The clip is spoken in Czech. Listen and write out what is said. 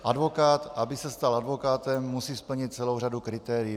Advokát, aby se stal advokátem, musí splnit celou řadu kritérií.